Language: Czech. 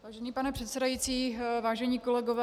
Vážený pane předsedající, vážení kolegové.